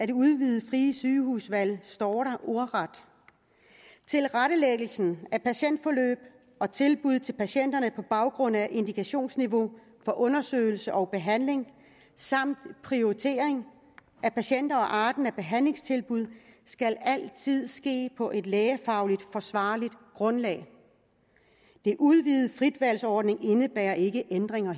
det udvidede frie sygehusvalg står der ordret tilrettelæggelse af patientforløb og tilbud til patienterne på baggrund af indikationsniveau for undersøgelse og behandling samt prioritering af patienter og arten af behandlingstilbud skal altid ske på et lægefagligt forsvarligt grundlag den udvidede fritvalgsordning indebærer ikke ændringer